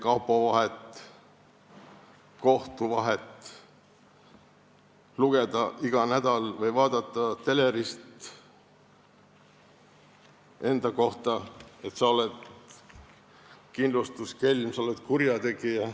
See tähendab käia kapo ja kohtu vahet, kuulda iga nädal telerist enda kohta, et sa oled kindlustuskelm, sa oled kurjategija.